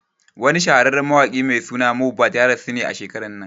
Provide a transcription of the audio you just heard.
Wani shahararren mawaƙi mai suna Mohbad ya rasu a shekaran nan